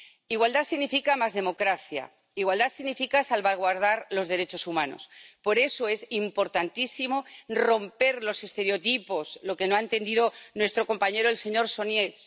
Igualdad significa más democracia. Igualdad significa salvaguardar los derechos humanos. Por eso es importantísimo romper los estereotipos, lo que no ha entendido nuestro compañero el señor Sośnierz.